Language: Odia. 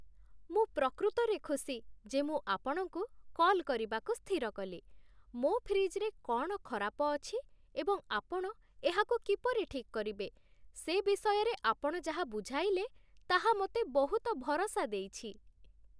ମୁଁ ପ୍ରକୃତରେ ଖୁସି ଯେ ମୁଁ ଆପଣଙ୍କୁ କଲ୍ କରିବାକୁ ସ୍ଥିର କଲି, ମୋ ଫ୍ରିଜ୍‌ରେ କ'ଣ ଖରାପ ଅଛି ଏବଂ ଆପଣ ଏହାକୁ କିପରି ଠିକ୍ କରିବେ ସେ ବିଷୟରେ ଆପଣ ଯାହା ବୁଝାଇଲେ ତାହା ମୋତେ ବହୁତ ଭରସା ଦେଇଛି